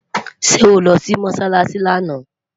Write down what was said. sé oló Si mosálási lànà?